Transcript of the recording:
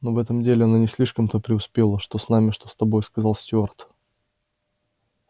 ну в этом деле она не слишком-то преуспела что с нами что с тобой сказал стюарт